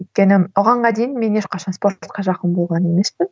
өйткені бұғанға дейін мен ешқашан спортқа жақын болған емеспін